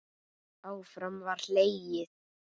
Áfram var hlegið.